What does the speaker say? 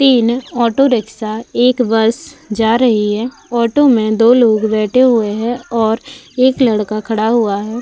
तीन auto rickshaw एक bus जा रही है। ऑटो में दो लोग बैठे हुए हैं और एक लड़का खड़ा हुआ है।